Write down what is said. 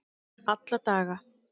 alla daga